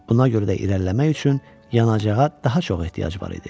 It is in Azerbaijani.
Buna görə də irəliləmək üçün yanacağa daha çox ehtiyac var idi.